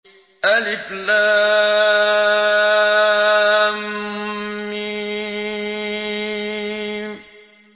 الم